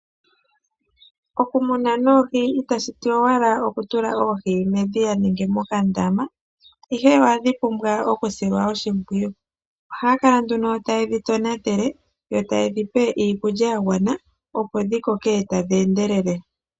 Okumuna noohi itashiti owala okutula oohi medhiya nenge mokandama ihe ohadhi pumbwa oku silwa oshimpwiyu. Ohaya kala nduno ta yedhi tonatele yo taye dhipe iikulya ya gwana opo dhi koke tadhi endelele